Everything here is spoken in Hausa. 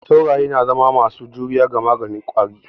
Sauraye na zama masu juriya ga maganin ƙwari.